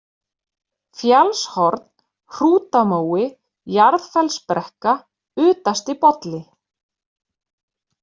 Fjallshorn, Hrútamói, Jarðfellsbrekka, Utastibolli